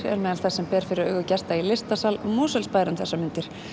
eru meðal þess sem ber fyrir augu gesta í listasal Mosfellsbæjar um þessar mundir